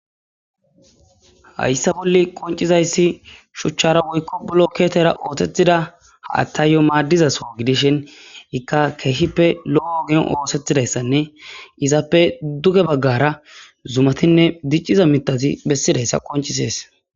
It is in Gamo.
hayssa bolli qoncizayssi shuchchara woykko bloketera ootetida attayyo maaddizaso gidishin ikka keehippe lo7o ogen ootettidayssanne izappe duge baggara zumatinne dicciza mitazi bessidayssa qoncisees